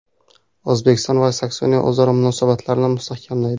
O‘zbekiston va Saksoniya o‘zaro munosabatlarni mustahkamlaydi.